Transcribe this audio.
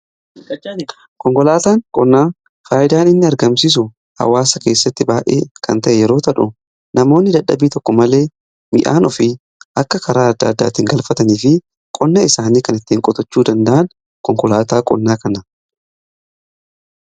Konkolaataan qonnaa faayidaan inni argamsisu hawaasa keessatti ba'ee kan ta'e yeroo ta'u, namoonni dadhabbii tokko malee midhaan ofii akka karaa adda addaatiin galfatanii fi qonna isaanii kan ittiin qotachuu danda'an konkolaataa qonnaa kana.